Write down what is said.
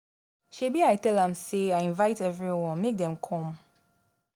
Shebi I tell am say I invite everyone make dem come